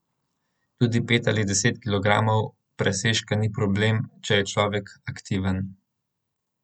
Tudi pet ali deset kilogramov presežka ni problem, če je človek aktiven.